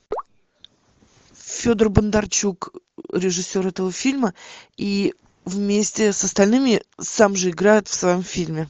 федор бондарчук режиссер этого фильма и вместе с остальными сам же играет в своем фильме